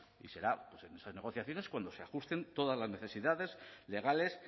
y será en esas negociaciones cuando se ajusten todas las necesidades legales